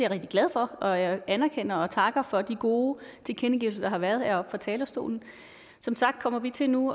rigtig glad for og jeg anerkender og takker for de gode tilkendegivelser der har været heroppe fra talerstolen som sagt kommer vi til nu